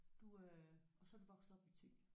Du øh og så er du vokset op i Thy?